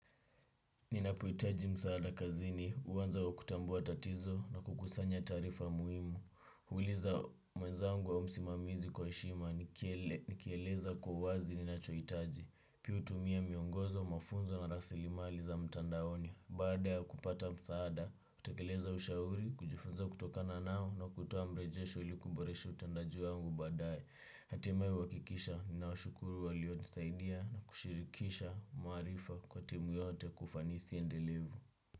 Ninapoitaji msaada kazini, uwanza kwa kutambuwa tatizo na kukusanya tarifa muhimu. Huliza mweza angu au msimamizi kwa heshima, nikieleza kwa uwazi ninachoitaji. Pii utumia miongozo, mafunzo na rasilimali za mtandaoni. Baada ya kupata msaada, kutekeleza ushauri, kujifunza kutokana nao na kutowa mrejesho ili kuboresha utendaji wangu badaye. Hatimai wakikisha nawashukuru waliwonisaidia na kushirikisha marifa kwa timu yote kwa ufanisi endelevu.